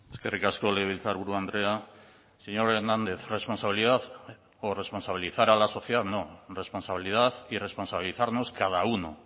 eskerrik asko legebiltzarburu andrea señor hernández responsabilidad o responsabilizar a la sociedad no responsabilidad y responsabilizarnos cada uno